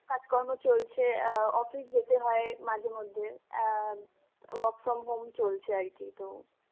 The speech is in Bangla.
কাজকর্ম চলছে, আহ office যেতে হয় মাঝেমধ্যে, আ ম work from home চলছে আরকি তো.